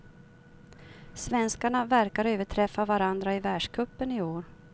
Svenskarna verkar överträffa varandra i världscupen i år.